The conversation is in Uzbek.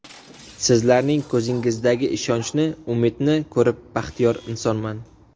Sizlarning ko‘zingizdagi ishonchni, umidni ko‘rib baxtiyor insonman.